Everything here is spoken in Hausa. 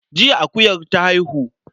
Jiya akuyar ta haihu.